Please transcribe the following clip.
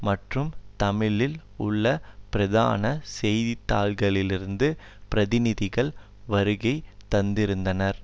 மற்றும் தமிழில் உள்ள பிரதான செய்தித்தாள்களிலிருந்து பிரதிநிதிகள் வருகை தந்திருந்தனர்